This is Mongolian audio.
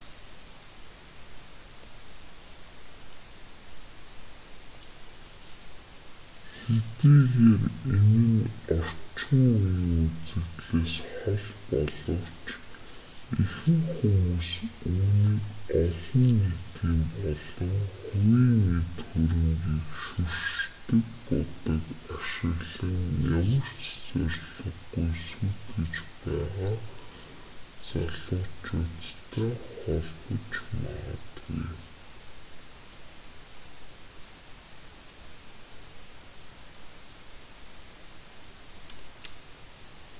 хэдийгээр энэ нь орчин үеийн үзэгдлээс хол боловч ихэнх хүмүүс үүнийг олон нийтийн болон хувийн эд хөрөнгийг шүршдэг будаг ашиглан ямар ч зорилгогүй сүйтгэж байгаа залуучуудтай холбож магадгүй